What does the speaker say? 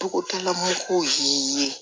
Togodala mɔgɔw ye